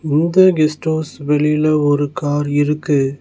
இந்த guest house வெளில ஒரு கார் இருக்கு.